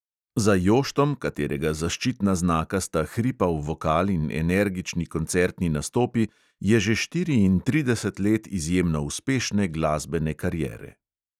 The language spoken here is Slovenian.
Za joštom, katerega zaščitna znaka sta hripav vokal in energični koncertni nastopi, je že štiriintrideset let izjemno uspešne glasbene kariere.